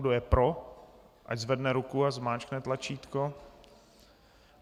Kdo je pro, ať zvedne ruku a stiskne tlačítko.